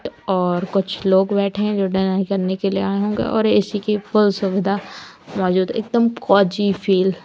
और कुछ लोग बैठे हैं जो डिनर करने के लिए आए होंगे और ए_सी की फुल सुविधा मौजूद एकदम फील --